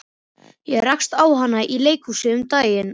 Ég rakst á hana í leikhúsi um daginn.